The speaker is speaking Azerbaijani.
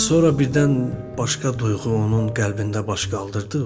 Sonra birdən başqa duyğu onun qəlbində baş qaldırdı.